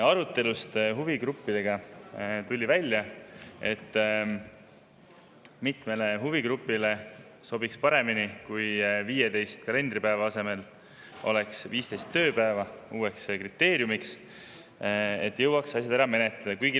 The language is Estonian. Arutelust huvigruppidega tuli välja, et mitmele huvigrupile sobiks paremini, kui 15 kalendripäeva asemel oleks uueks kriteeriumiks 15 tööpäeva, et jõuaks asjad ära menetleda.